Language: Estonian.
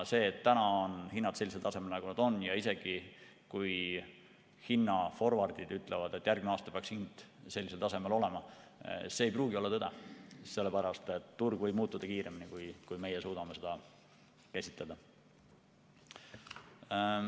See, et täna on hinnad sellisel tasemel, nagu nad on, ja isegi kui hinnaforvardid ütlevad, et järgmine aasta peaks hind sellisel tasemel olema, siis see ei pruugi olla tõde, sest turg võib muutuda kiiremini, kui meie suudame seda ette näha.